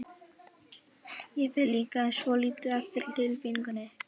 Ég fer líka svolítið eftir tilfinningunni.